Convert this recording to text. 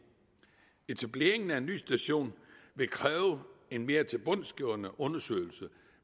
etableringen af en ny station vil kræve en mere tilbundsgående undersøgelse